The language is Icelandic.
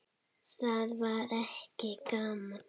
Það var ekki gaman.